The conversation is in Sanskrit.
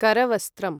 करवस्त्रम्